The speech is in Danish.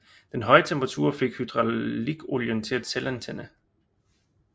Den høje temperatur fik hydraulikolien til at selvantænde